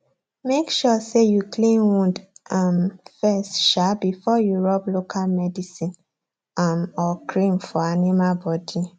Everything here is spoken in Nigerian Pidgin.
make sure say you clean wound um first um before you rub local medicine um or cream for animal body